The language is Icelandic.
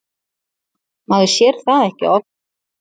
Maður sér það ekki oft.